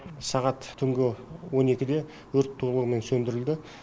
сағат түнгі он екіде өрт толығымен сөндірілді